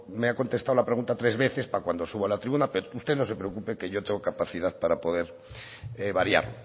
me ha contestado la pregunta tres veces para cuando subo a la tribuna pero usted no se preocupe que yo tengo capacidad para poder variar